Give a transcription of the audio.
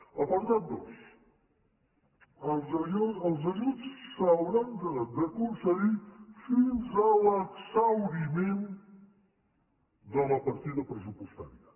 l’apartat dos els ajuts s’hauran de concedir fins a l’exhauriment de la partida pressupostària